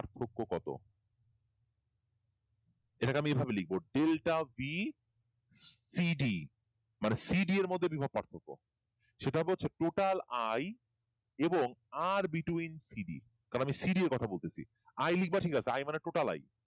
এটাকে আমি এভাবে লিখব ডেলটা b cd মানে cd এর মধ্যে বিভব পার্থক্য সেটা হচ্ছে আবার total i এবং r between cd তারমানে cd কথা বলতেছি i লিখবা ঠিক আছে i মানে total i